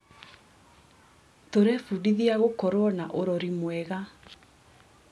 Tũrebundithia gũkorwo na ũrori mwega.